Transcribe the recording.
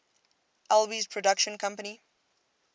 alby's production company